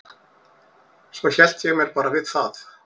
Svo hélt ég mér bara við það.